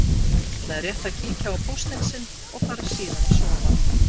Hún ætlaði rétt að kíkja á póstinn sinn og fara síðan að sofa.